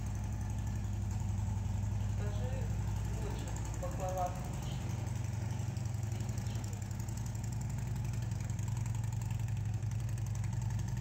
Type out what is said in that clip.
закажи булочек баклава с вишней десять штук